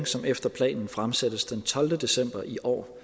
som efter planen fremsættes den tolvte december i år